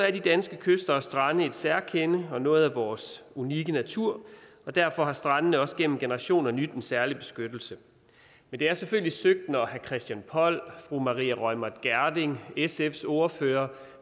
er de danske kyster og strande et særkende og noget af vores unikke natur og derfor har strandene også gennem generationer nydt en særlig beskyttelse men det er selvfølgelig søgt når herre christian poll og fru maria reumert gjerding og sfs ordfører